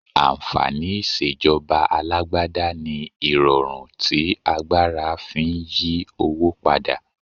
Ànfàní ìṣèjọba alágbádá ni irọrun tí agbára fi ń yí owó padà.